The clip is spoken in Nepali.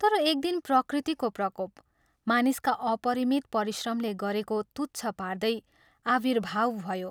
तर एक दिन प्रकृतिको प्रकोप मानिसका अपरिमित परिश्रमले गरेको तुच्छ पार्दै आविर्भाव भयो।